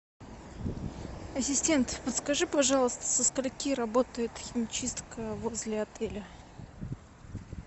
ассистент подскажи пожалуйста со скольки работает химчистка возле отеля